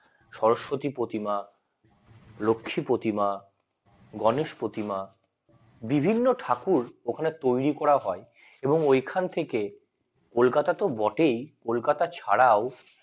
সরস্বতী প্রতিমা লক্ষ্মী প্রতিমা গণেশ প্রতিমা বিভিন্ন ঠাকুর ওখানে তৈরি করা হয় এবং ওখান থেকে কলকাতা তো বটেই কলকাতা ছাড়াও